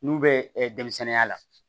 N'u bɛ denmisɛnninya la